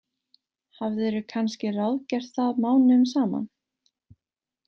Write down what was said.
Hafðirðu kannski ráðgert það mánuðum saman?